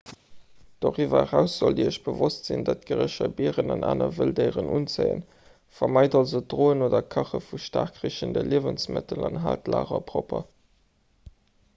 doriwwer eraus sollt dir iech bewosst sinn datt gerécher bieren an aner wëlddéieren unzéien vermeit also d'droen oder kache vu staark richende liewensmëttel an haalt d'lager propper